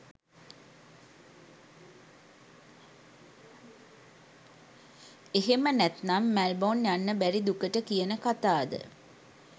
එහෙම නැත්නම් මැල්බොන් යන්න බැරි දුකට කියන කතාද?